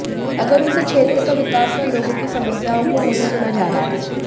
अगर उनसे क्षेत्र का विकास व लोगों की समस्याओं को नहीं सुना जा रहा है